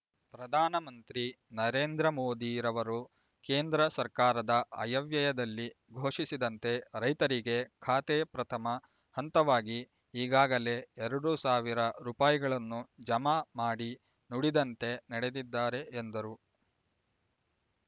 ಪ್ರಧಾನ ಮಂತ್ರಿ ನರೇಂದ್ರ ಮೋದಿರವರು ಕೇಂದ್ರ ಸರ್ಕಾರದ ಆಯವ್ಯಯದಲ್ಲಿ ಘೋಷಿಸಿದಂತೆ ರೈತರಿಗೆ ಖಾತೆ ಪ್ರಥಮ ಹಂತವಾಗಿ ಈಗಾಗಲೇ ಎರಡು ಸಾವಿರ ರೂಪಾಯಿಗಳನ್ನು ಜಮಾ ಮಾಡಿ ನುಡಿದಂತೆ ನಡೆದಿದ್ದಾರೆ ಎಂದರು